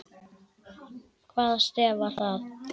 Hvaða stef var það?